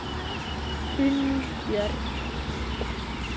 Unnur Björg.